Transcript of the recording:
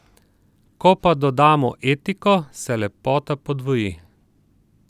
Ko pa dodamo etiko, se lepota podvoji.